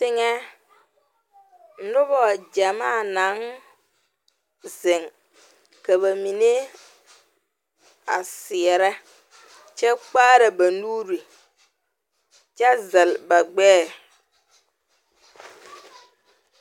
Teŋɛ noba gyɛmaa naŋ zeŋ ka ba mine a seɛrɛ kyɛ kpaara ba nuure kyɛ zɛlle ba gbɛɛ.